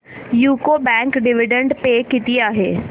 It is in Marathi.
यूको बँक डिविडंड पे किती आहे